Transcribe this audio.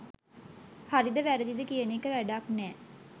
හරිද වැරදිද කියන එක වැඩක් නෑ.